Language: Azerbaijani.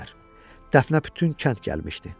Dəfnə bütün kənd gəlmişdi.